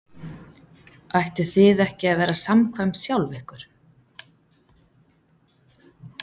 Ættuð þið ekki að vera samkvæm sjálf ykkur?